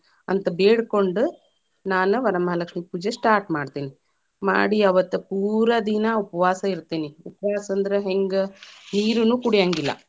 ಅಂತ ಬೇಡಕೊಂಡ, ನಾನ ವರಮಹಾಲಕ್ಷ್ಮೀ ಪೂಜೆ start ಮಾಡ್ತೇನಿ, ಮಾಡಿ ಅವತ್ತ ಪೂರಾ ದಿನಾ ಉಪವಾಸ ಇತೇ೯ನಿ, ಉಪವಾಸ ಅಂದ್ರ ಹೆಂಗ್‌ ನೀರನೂ ಕುಡಿಯಂಗಿಲ್ಲ.